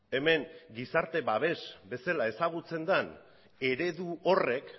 hemen gizarte babes bezala ezagutzen den eredu horrek